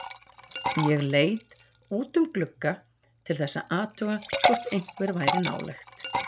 Ég leit út um glugga til þess að athuga hvort einhver væri nálægt.